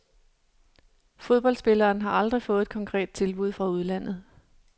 Fodboldspilleren har aldrig fået et konkret tilbud fra udlandet.